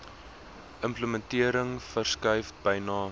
implementering verskuif byna